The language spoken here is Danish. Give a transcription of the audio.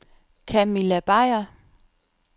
Camilla Beyer